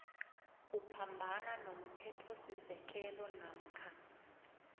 uphambana nomthethosisekelo namkha